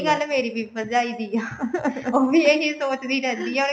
ਗੱਲ ਮੇਰੀ ਵੀ ਭਰਜਾਈ ਦੀ ਐ ਉਹ ਵੀ ਇਹੀ ਸੋਚਦੀ ਰਹਿੰਦੀ ਐ